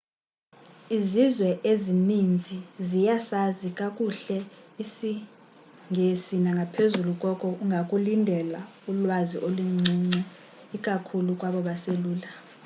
izizwe ezininzi ziyasazi kakuhle isingesinangaphezulu koko ungakulindela ulwazi oluncinci ikakhulu kwabo baselula